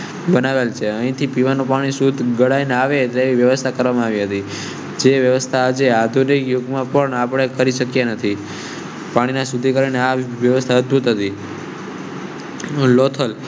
બનેલું છે. અહીં થી પીવા નું પાણી શુધ્ધ નવી વ્યવસ્થા કરવામાં આવી હતી. વ્યવસ્થા જે આધુનિક યુગમાં પણ આપણે કરી શક્યા નથી. પાણી ના શુદ્ધિકરણ માટે આ વ્યવસ્થા અધભૂત હતી